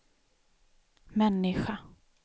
människa